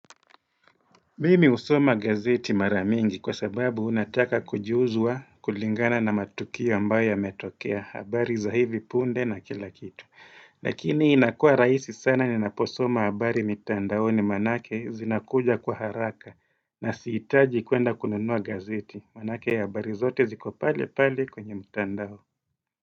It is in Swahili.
Mimi husoma gazeti maramingi kwa sababu nataka kujuzwa kulingana na matukio ambayo yametokea, habari za hivi punde na kila kitu. Lakini inakua rahisi sana ninaposoma habari mitandaoni manake zinakuja kwa haraka. Na siitaji kwenda kununua gazeti. Manake habari zote ziko palepale kwenye mitandao.